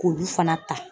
K'olu fana ta